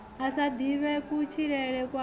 a sa ḓivhe kutshilele kwawe